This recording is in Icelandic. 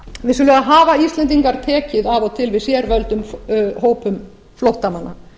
vissulega hafa íslendingar tekið af og til við sérvöldum hópum flóttamanna